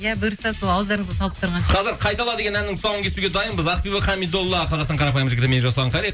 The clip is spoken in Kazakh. иә бұйырса сол ауыздарыңызға салып тұрған қазір қайтала деген әннің тұсауын кесуге дайынбыз ақбибі хамидолла қазақтың қарапайым жігіті мен жасұлан қали